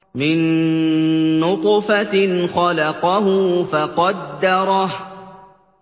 مِن نُّطْفَةٍ خَلَقَهُ فَقَدَّرَهُ